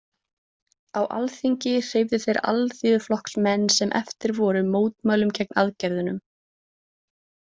Á Alþingi hreyfðu þeir Alþýðuflokksmenn sem eftir voru mótmælum gegn aðgerðunum.